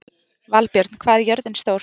Valbjörn, hvað er jörðin stór?